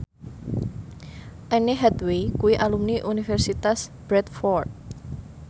Anne Hathaway kuwi alumni Universitas Bradford